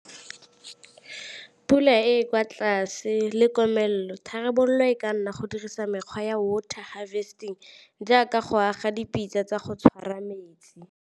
Pula e kwa tlase le komelelo, tharabololo e ka nna go dirisa mekgwa ya water harvesting jaaka go aga dipitsa tsa go tshwara metsi.